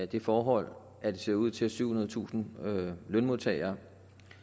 det forhold at det ser ud til at syvhundredetusind lønmodtagere